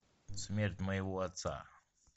смерть моего отца